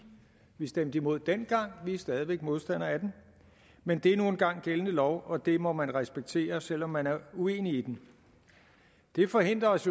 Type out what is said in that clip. vi stemte imod dengang og vi er stadig væk modstandere af den men det er nu engang gældende lov og det må man respektere selv om man er uenig i den det forhindrer os